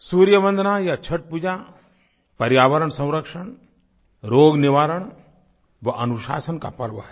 सूर्य वंदना या छठपूजा पर्यावरण संरक्षण रोग निवारण व अनुशासन का पर्व है